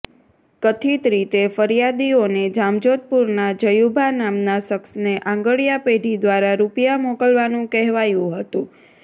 કથિત રીતે ફરિયાદીઓને જામજોધપુરના જયુભા નામના શખ્સને આંગડિયા પેઢી દ્વારા રૂપિયા મોકલવાનું કહેવાયું હતું